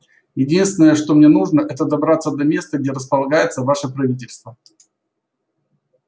единственное что мне нужно это добраться до места где располагается ваше правительство